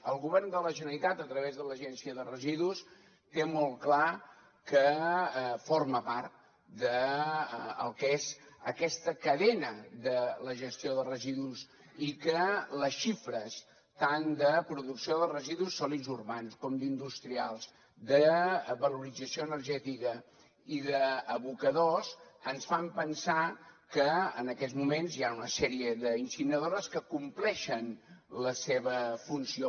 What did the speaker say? el govern de la generalitat a través de l’agència de residus té molt clar que forma part del que és aquesta cadena de la gestió de residus i que les xifres tant de producció de residus sòlids urbans com d’industrials de valorització energètica i d’abocadors ens fan pensar que en aquests moments hi ha una sèrie d’incineradores que compleixen la seva funció